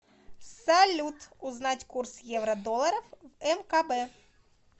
салют узнать курс евро долларов в мкб